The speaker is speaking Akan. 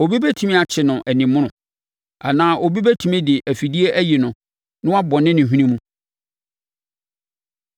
Obi bɛtumi akye no animono; anaa obi bɛtumi de afidie ayi no na wabɔne ne hwene mu?